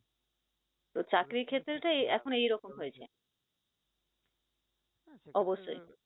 তো চাকরির ক্ষেত্রে টাও এখন এইরকম হয়েছে অবশ্যই